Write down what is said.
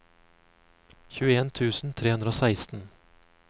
tjueen tusen tre hundre og seksten